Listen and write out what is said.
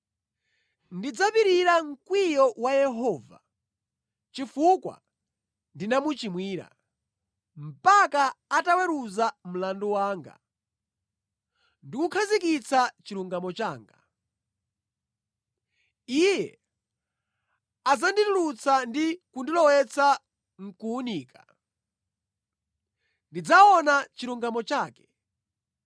Ndidzapirira mkwiyo wa Yehova, chifukwa ndinamuchimwira, mpaka ataweruza mlandu wanga ndi kukhazikitsa chilungamo changa. Iye adzanditulutsa ndi kundilowetsa mʼkuwunika; ndidzaona chilungamo chake.